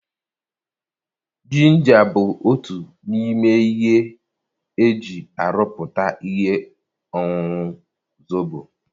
Jinja bụ otu n'ime ihe eji aruputa ihe ọṅụṅụ Zobo.